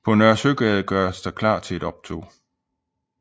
På Nørre Søgade gøres der klar til optog